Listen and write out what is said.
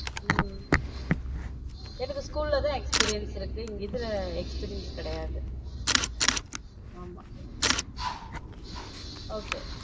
உம் எனக்கு school ல தான் experience இருக்கு இதுல experience கிடையாது ஆமா okay